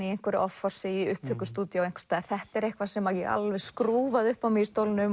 í einhverju offorsi í upptökustúdíói einhvers staðar þetta er eitthvað sem ég alveg skrúfaði upp á mig í stólnum